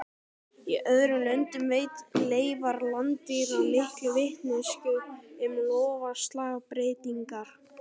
Í öðrum löndum veita leifar landdýra mikla vitneskju um loftslagsbreytingar.